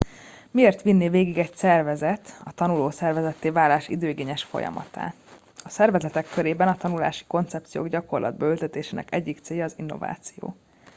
miért vinné végig egy szervezet a tanuló szervezetté válás időigényes folyamatát a szervezetek körében a tanulási koncepciók gyakorlatba ültetésének egyik célja az innováció